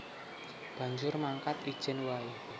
Banjur mangkat ijèn waé